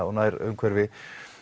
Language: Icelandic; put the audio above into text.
og nærumhverfi